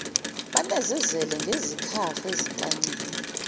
banezezele ngezikhafu ezintanyeni